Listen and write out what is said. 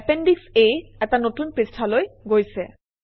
এপেণ্ডিশ A এটা নতুন পৃষ্ঠালৈ গৈছে